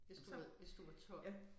Hvis du ved hvis du var 12